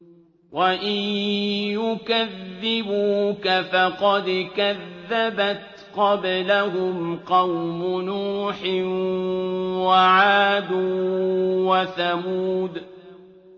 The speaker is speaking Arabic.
وَإِن يُكَذِّبُوكَ فَقَدْ كَذَّبَتْ قَبْلَهُمْ قَوْمُ نُوحٍ وَعَادٌ وَثَمُودُ